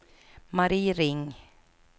Marie Ring